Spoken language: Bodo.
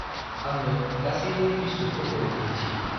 आंनो गासैबो बिस्कुतफोरखौ दिन्थि।